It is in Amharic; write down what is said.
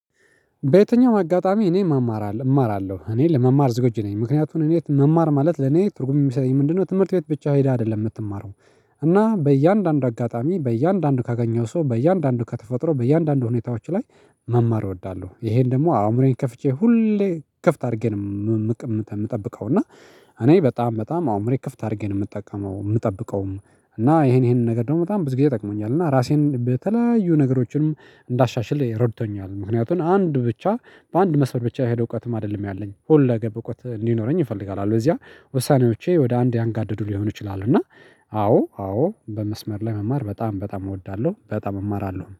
በየትኛውም አጋጣሚ እኔ መማር እማራለሁ እኔ ለመማር ዝግጁ ነኝ ምክንያቱም እኔ መማር ማለት ለኔ ትርጉም የሚሰጠኝ ምንድነው ትምህርት ቤት ብቻ ሄዳ አይደለም የምትማረው። እና በእያንዳንዱ አጋጣሚ በእያንዳንዱ ካገኘው ሰው በእያንዳንዱ ከተፈጥሮ በእያንዳንዱ ሁኔታዎች ላይ መማር እወዳለሁ ይሄን ደግሞ አእምሮዬን ከፍቼ ሁሌ ክፍት አድርጌ ነው የምጠብቀው። እና እኔ በጣም አእምሮዬን ክፍት አድርጌ ነው የምጠቀመው የምጠብቀውም እና ይሄንን ነገር ደግሞ በጣም ብዙ ጊዜ ጠቅሞኛል። እና ራሴን በተለያዩ ነገሮችንም እንዳሻሽል ረድቶኛል። ምክንያቱም አንድ ብቻ በአንድ መስመር ብቻ የሄደው እውቀትም አይደለም ያለኝ ሁለገብ እውቀት እንዲኖረኝ እፈልጋለሁ። አለበለዚያ ወሳኔዎቼ ወደ አንድ ያንጋደዱ ሊሆኑ ይችላሉ። እና አዎ አዎ በመስመር ላይ መማር በጣም በጣም እወዳለሁ በጣም እማራለሁ